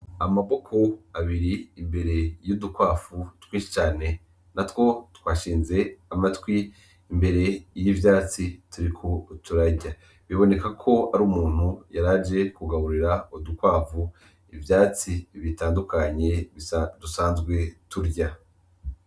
Amaboko abiri imbere y'udukwavu twinshi cane, natwo twashinze amatwi imbere y'ivyatsi turiko turarya, biboneka ko ari umuntu yaraje kugaburira udukwavu ivyatsi bitandukanye dusanzwe turya.